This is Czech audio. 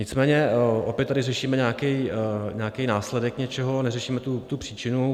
Nicméně opět tady řešíme nějaký následek něčeho, neřešíme tu příčinu.